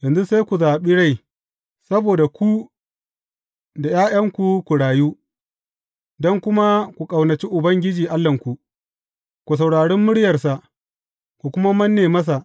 Yanzu sai ku zaɓi rai, saboda ku da ’ya’yanku ku rayu don kuma ku ƙaunaci Ubangiji Allahnku, ku saurari muryarsa, ku kuma manne masa.